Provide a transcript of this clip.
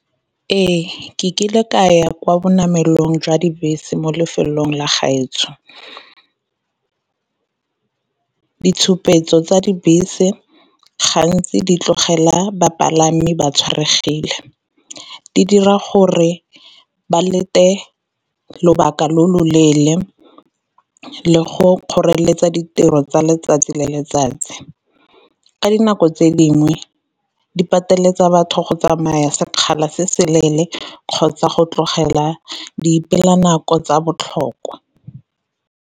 Ee, ke kile ka ya kwa bonamelong jwa dibese mo lefelong la gaetsho. Ditshupetso tsa dibese gantsi di tlogela bapalami ba tshwaregile, di dira gore ba lete lobaka lo lo leele le go kgoreletsa ditiro tsa letsatsi le letsatsi. Ka dinako tse dingwe di pateletsa batho go tsamaya sekgala se se leele kgotsa go tlogela di nako tsa botlhokwa.